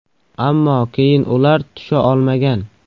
Ammo keyin ular tusha olmagan.